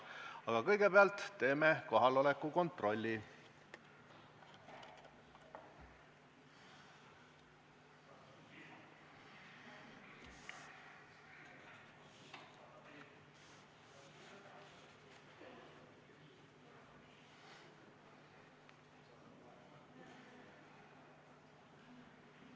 Aga kõigepealt teeme kohaloleku kontrolli.